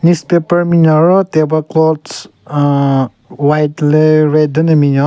Newspaper binyon ro table clothes ahhh white le red den ne binyon.